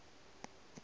ya au e na le